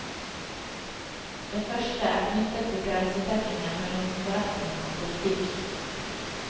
Det første er knyttet til grensetrekkingen mellom forretning og politikk.